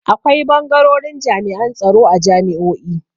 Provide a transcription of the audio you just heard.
Akwai bangarorin jami'an tsaro a jami'o'i.